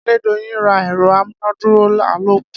Adedoyin ra ẹ̀rọ amúnádúró àlòkù.